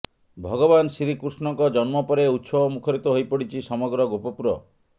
ଭଗବାନ ଶ୍ରୀକୃଷ୍ଣଙ୍କ ଜନ୍ମ ପରେ ଉତ୍ସବ ମୁଖରିତ ହୋଇ ପଡ଼ିଛି ସମଗ୍ର ଗୋପପୁର